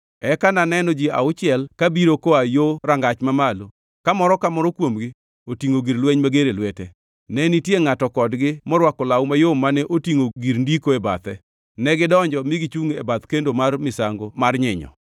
Eka ne aneno ji auchiel kabiro koa yo rangach mamalo, ka moro ka moro kuomgi otingʼo gir lweny mager e lwete. Ne nitie ngʼato kodgi morwako law mayom mane otingʼo gir ndiko e bathe. Negidonjo mi gichungʼ e bath kendo mar misango mar nyinyo.